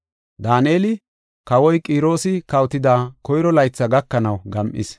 Daaneli, kawoy Qiroosi kawotida koyro laytha gakanaw gam7is.